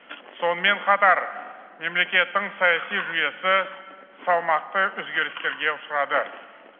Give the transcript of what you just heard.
сонымен қатар мемлекеттің саяси жүйесі салмақты өзгерістерге ұшырады